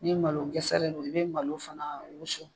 Ni malo gɛsɛ de don , i be malo fana wusu.